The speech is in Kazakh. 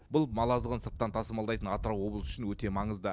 бұл мал азығын сырттан тасымалдайтын атырау облысы үшін өте маңызды